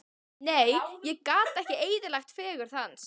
Nei, ég gat ekki eyðilagt fegurð hans.